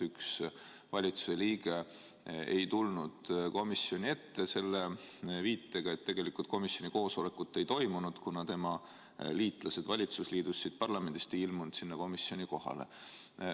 Üks valitsuse liige ei tulnud komisjoni ette, selle viitega, et tegelikult komisjoni koosolekut ei toimunud, kuna tema liitlased valitsusliidus siit parlamendist ei ilmunud sinna komisjoni kohale.